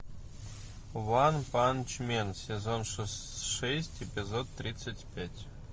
ванпанчмен сезон шесть эпизод тридцать пять